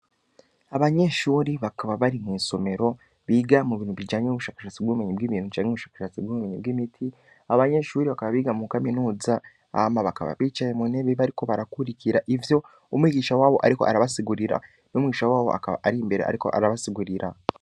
Abanyeshuri bakaba bari mw'isomero biga mu bintu bijanye w'ubushakashatsi bw'ubumenyi bw'ibintu canke ubushakashatsi bw'ubumenyi bw'imiti abanyeshuri bakaba biga mu kaminuza ama bakaba bicaye mu nebibe, ariko barakurikira ivyo umwigisha wabo, ariko arabasigurira n'umwigisha wabo akaba ari imbere, ariko arabasigurira.